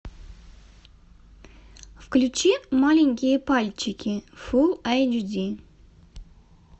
включи маленькие пальчики фул эйч ди